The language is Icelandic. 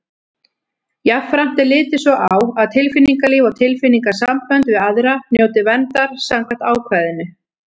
Jafnframt er litið svo á að tilfinningalíf og tilfinningasambönd við aðra njóti verndar samkvæmt ákvæðinu.